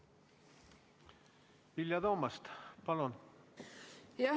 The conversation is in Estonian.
Vilja Toomast, palun!